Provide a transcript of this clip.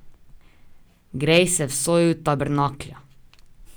Grej se v soju tabernaklja.